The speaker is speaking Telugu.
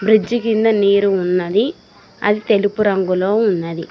బ్రిడ్జి కింద నీరు ఉన్నది అది తెలుపు రంగులో ఉన్నది.